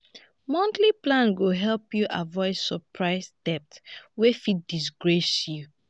monthly plan go help you avoid surprise debt wey fit disgrace you.